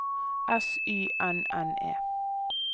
S Y N N E